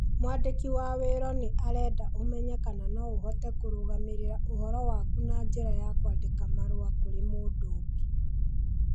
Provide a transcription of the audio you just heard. Mwandĩki wa wiro nĩ arenda ũmenye kana no ũhote kũrũgamĩrĩra ũhoro waku na njĩra ya kwandĩka marũa kũrĩ mũndũ ũngĩ.